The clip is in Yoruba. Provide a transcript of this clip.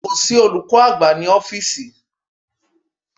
Kò sí olùkọ́ àgbà ní ọ́fíísì.